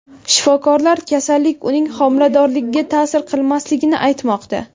Shifokorlar kasallik uning homiladorligiga ta’sir qilmasligini aytmoqda.